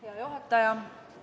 Hea juhataja!